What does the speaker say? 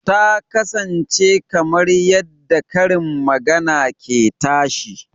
Ta kasance kamar yadda karin magana ke tashi